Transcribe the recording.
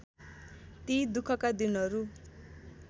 ती दुखका दिनहरू